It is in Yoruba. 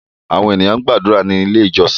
Àwọn ènìyàn gbàdúrà ní ilé ìjósìn